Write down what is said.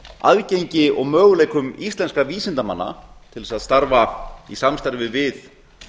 aðgengi og möguleikum íslenskra vísindamanna til þess að starfa í samstarfi við